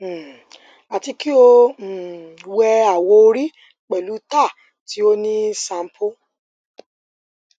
um ati ki o um wẹ awọ ori pẹlu tar ti o ni sampo